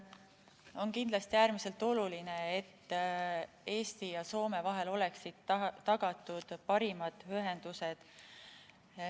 On kindlasti äärmiselt oluline, et Eesti ja Soome vahel oleksid tagatud parimad ühendused.